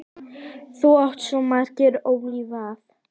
Þú áttir svo margt ólifað.